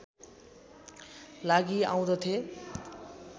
लागि आउँदथे